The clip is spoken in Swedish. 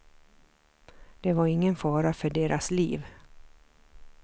Det var ingen fara för deras liv.